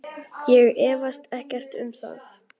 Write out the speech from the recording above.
Ég efast ekkert um það.